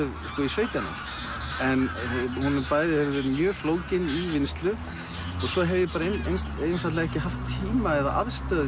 sautján ár hún bæði hefur verið flókin í vinnslu svo hef ég einfaldlega ekki haft tíma eða aðstöðu